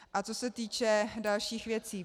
A co se týče dalších věcí.